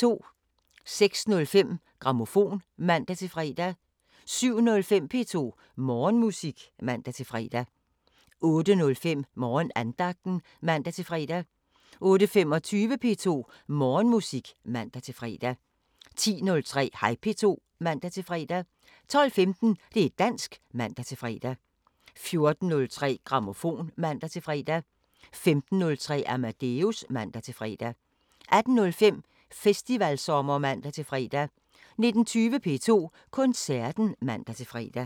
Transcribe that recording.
06:05: Grammofon (man-fre) 07:05: P2 Morgenmusik (man-fre) 08:05: Morgenandagten (man-fre) 08:25: P2 Morgenmusik (man-fre) 10:03: Hej P2 (man-fre) 12:15: Det´ dansk (man-fre) 14:03: Grammofon (man-fre) 15:03: Amadeus (man-fre) 18:05: Festivalsommer (man-fre) 19:20: P2 Koncerten (man-fre)